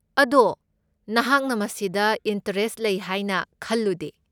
ꯑꯗꯣ ꯅꯍꯥꯛꯅ ꯃꯁꯤꯗ ꯏꯟꯇꯔꯦꯁꯠ ꯂꯩ ꯍꯥꯏꯅ ꯈꯜꯂꯨꯗꯦ꯫